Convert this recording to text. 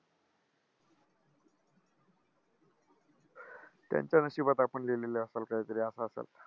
त्यांच्या नशिबात आपण लिहिलेलं असंल कायतरी असं असंल.